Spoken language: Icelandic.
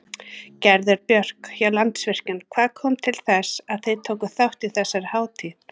Gerður Björk hjá Landsvirkjun, hvað kom til þess að þið takið þátt í þessari hátíð?